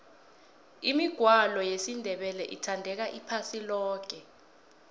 imigwalo yesindebele ithandeka iphasi loke